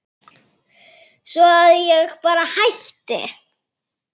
Svo að ég bara hætti.